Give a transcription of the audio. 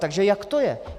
Takže jak to je?